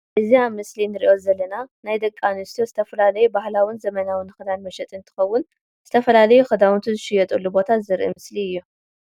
እዚ ኣብ ምስሊ እንርኦ ዘለና ናይ ደቂ ኣንስትዮ ዝተፈላለዩ ባህላዊን ዘመናዊን ክዳን መሸጢ እንትከውን ዝተፈላለዩ ክዳውንቲ ዝሽየጡ ቦታ ዘርኢ ምስሊ እዩ።